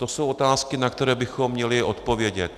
To jsou otázky, na které bychom měli odpovědět.